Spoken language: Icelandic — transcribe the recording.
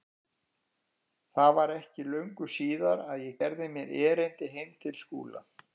Það var ekki löngu síðar að ég gerði mér erindi heim til Skúla.